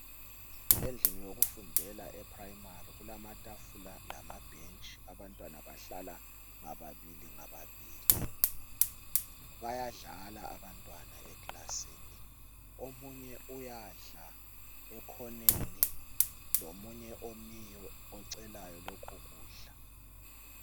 Endaweni yokufundela eprimary kulamabhentshi abantwana bahlala ngababili ngababili bayadlala abantwana eclassini omunye uyadla ekhoneni komunye omiyo ocelayo lokho kudla